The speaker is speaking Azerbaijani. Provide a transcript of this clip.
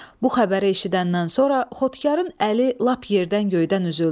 Bu xəbəri eşidəndən sonra Xotkarın əli lap yerdən göydən üzüldü.